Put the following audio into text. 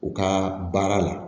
U ka baara la